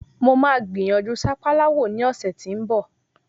Mo máa gbìyànjú sápálá wò ní ọ̀sẹ̀ tí ń bọ̀.